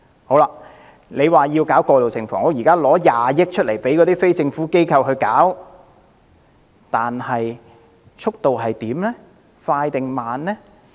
政府提出興建過渡性房屋，撥款20億元交由非政府機構負責，但興建速度究竟是快還是慢？